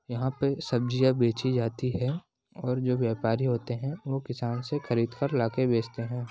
यहाँ पर सब्जियां बेचीं जाती हैं और जो व्यापारी होते हैं वह किसान से खरीद कर लाके बेचते हैं।